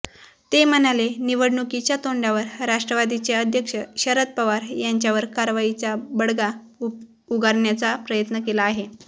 ते म्हणाले निवडणुकीच्या तोंडावर राष्ट्रवादीचे अध्यक्ष शरद पवार यांच्यावर कारवाईचा बडगा उगारण्याचा प्रयत्न केला आहे